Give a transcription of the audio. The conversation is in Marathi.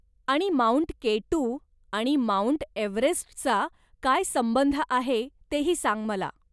आणि माउंट के टू आणि माउंट एव्हरेस्टचा काय संबंध आहे तेही सांग मला.